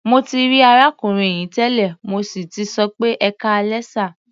Mo ti rí arákùnrin yìí tẹ́lẹ̀, mo sì tì sọ pé "ẹkáalẹ́ sà".